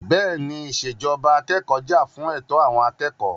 Bẹ́ẹ̀ni, ìṣèjọba akẹ́kọ̀ọ́ jà fún ẹ̀tọ́ àwọn akẹ́kọ̀ọ́.